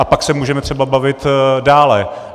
A pak se můžeme třeba bavit dále.